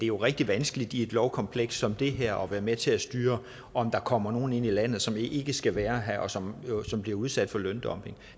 jo rigtig vanskeligt i et lovkompleks som det her at være med til at styre om der kommer nogle ind i landet som ikke skal være her og som bliver udsat for løndumping